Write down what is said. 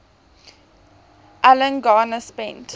alan garner spent